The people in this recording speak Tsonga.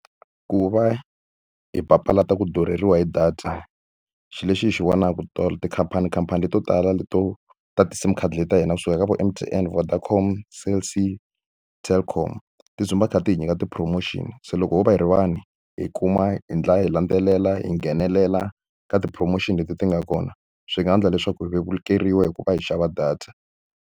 Ku va hi papalata ku durheriwa hi data, xilo lexi hi xi vonaka tikhampani khampani leto tala leto ta ti-SIM card leti ta hina sukaka vo M_T_N, Vodacom, Cell C, ti-Telkom ti dzumba kha ti hi nyika ti-promotion. Se loko ho va hi ri vanhu hi kuma hi endla hi landzelela, hi nghenelela ka ti-promotion leti ti nga kona, swi nga endla leswaku hi vevukeriwa hi ku va hi xava data.